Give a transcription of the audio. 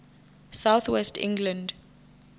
south west england